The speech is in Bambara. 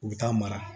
U bɛ taa mara